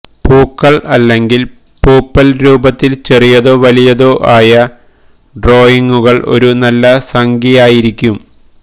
പൂക്കൾ അല്ലെങ്കിൽ പൂപ്പൽ രൂപത്തിൽ ചെറിയതോ വലിയതോ ആയ ഡ്രോയിംഗുകൾ ഒരു നല്ല സംഖ്യയായിരിക്കും